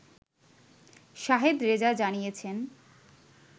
শাহেদ রেজা জানিয়েছেন